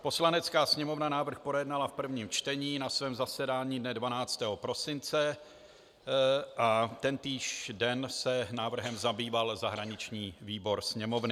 Poslanecká sněmovna návrh projednala v prvém čtení na svém zasedání dne 12. prosince a tentýž den se návrhem zabýval zahraniční výbor Sněmovny.